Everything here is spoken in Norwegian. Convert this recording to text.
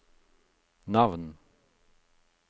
navn